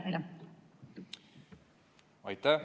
Aitäh!